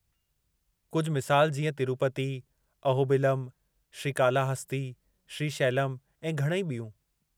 कुझु मिसालूं जीअं तिरूपती, अहोबिलम, श्रीकालाहस्ती, श्रीशैलम ऐं घणई ॿियूं।